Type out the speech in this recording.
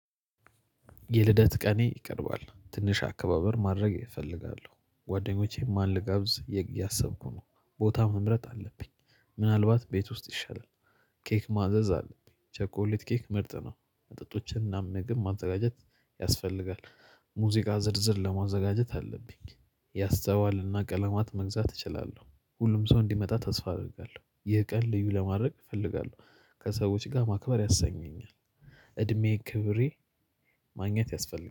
የልደት ቀኔ ይቀርባል ትንሽ አከባበር ማድረግ እፈልጋለሁ ጓደኞቼን ማን ልጋብዝ እያሰብኩ ነው ቦታ መምረጥ አለብኝ ምናልባት ቤት ውስጥ ይሻላል። ኬክ ማዘዝ አለብኝ ቸኮሌት ኬክ ምርጥ ነው። መጠጦችን እና ምግብ ማዘጋጀት ያስፈልጋል። ሙዚቃ ዝርዝር ለማዘጋጀት አለብኝ ያስተዋልና ቀለማት መግዛት እችላለሁ። ሁሉም ሰው እንዲመጣ ተስፋ አደርጋለሁ ይህ ቀን ልዩ ለማድረግ እፈልጋለሁ ከሰዎች ጋር ማክበር ያሰኘኛል። እድሜ ክብሬ ማግኘት ያስፈልጋል